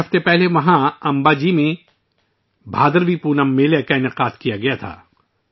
چند ہفتے پہلے امباجی میں ' بھدراوی پونم میلے ' کا انعقاد کیا گیا تھا